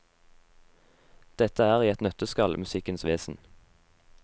Dette er i et nøtteskall musikkens vesen.